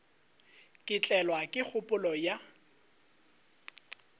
ka tlelwa ke kgopolo ya